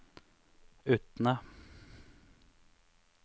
Utne